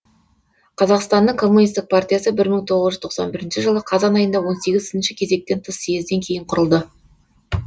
қазақстанның коммунистік партиясы бір мың тоғыз жүз тоқсан бірінші жылы қазан айында он сегізінші кезектен тыс съезден кейін құрылды